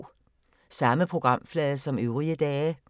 Samme programflade som øvrige dage